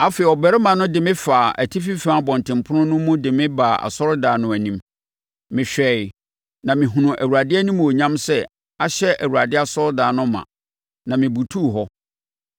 Afei, ɔbarima no de me faa atifi fam abɔntenpono no mu de me baa asɔredan no anim. Mehwɛeɛ na mehunuu Awurade animuonyam sɛ ahyɛ Awurade asɔredan no ma, na mebutuu hɔ.